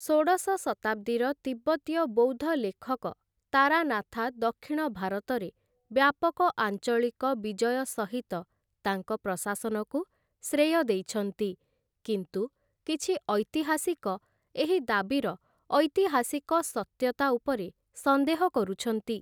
ଷୋଡ଼ଶ ଶତାବ୍ଦୀର ତିବ୍ବତୀୟ ବୌଦ୍ଧ ଲେଖକ ତାରାନାଥା ଦକ୍ଷିଣ ଭାରତରେ ବ୍ୟାପକ ଆଞ୍ଚଳିକ ବିଜୟ ସହିତ ତାଙ୍କ ପ୍ରଶାସନକୁ ଶ୍ରେୟ ଦେଇଛନ୍ତି, କିନ୍ତୁ କିଛି ଐତିହାସିକ ଏହି ଦାବିର ଐତିହାସିକ ସତ୍ୟତା ଉପରେ ସନ୍ଦେହ କରୁଛନ୍ତି ।